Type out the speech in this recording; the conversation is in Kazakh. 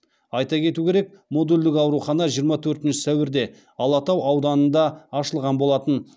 айта кету керек модульдік аурухана жиырма төртінші сәуірде алатау ауданында ашылған болатын